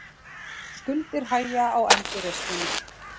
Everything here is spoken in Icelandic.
Skuldir hægja á endurreisninni